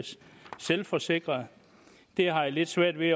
selvforsikret jeg har lidt svært ved